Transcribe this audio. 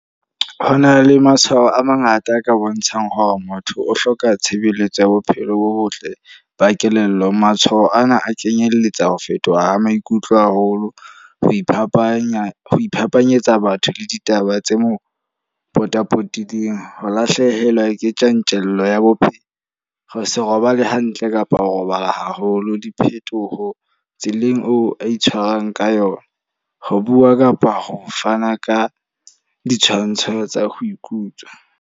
Ho na le matshwao a mangata a ka bontshang hore motho o hloka tshebeletso ya bophelo bo botle, ba kelello. Matshwao ana a kenyelletsa ho fetoha ha maikutlo haholo, ho iphapanya, ho iphapanyetsa batho le ditaba tse mo potapotileng. Ho lahlehelwa ke tjantjello ya bophelo, ho se robale hantle kapa ho robala haholo. Diphetoho tseleng oo a itshwarang ka yona, ho bua kapa ho fana ka ditshwantsho tsa ho ikutlwa.